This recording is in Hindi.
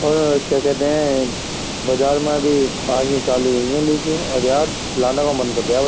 और यार क्या कहते हैं बाजार में अभी आनी चाली हुई है लीची और यार लाने का मन कर रिया है भाई।